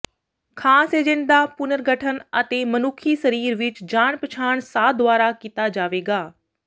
ਖਾਸ ਏਜੰਟ ਦਾ ਪੁਨਰਗਠਨ ਅਤੇ ਮਨੁੱਖੀ ਸਰੀਰ ਵਿੱਚ ਜਾਣ ਪਛਾਣ ਸਾਹ ਦੁਆਰਾ ਕੀਤਾ ਜਾਵੇਗਾ